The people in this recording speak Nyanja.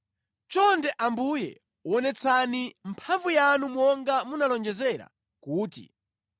“Chonde Ambuye wonetsani mphamvu yanu monga munalonjezera kuti,